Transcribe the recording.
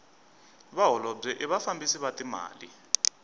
vaholobye i vafambisi va timali